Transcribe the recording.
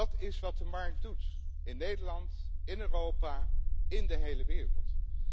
Dat is wat de markt doet, in Nederland, in Europa en in de hele wereld.